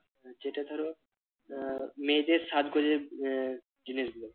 যেটা ধরো আহ মেয়েদের সাজগোজের আহ জিনিসগুলো।